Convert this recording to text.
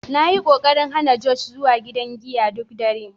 Na yi ƙoƙarin hana Josh zuwa gidan giya duk dare.